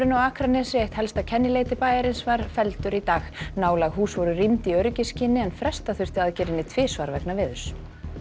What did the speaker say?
á Akranesi eitt helsta kennileiti bæjarins var felldur í dag nálæg hús voru rýmd í öryggisskyni en fresta þurfti aðgerðinni tvisvar vegna veðurs